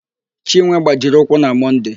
Chinwe gbajiri ụkwụ na Mọnde.